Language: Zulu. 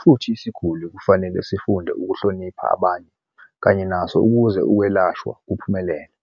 futhi isiguli kufanele sifunde ukuhlonipha abanye kanye naso ukuze ukwelashwa kuphumelele.